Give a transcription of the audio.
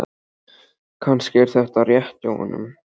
Kannski er þetta rétt hjá honum.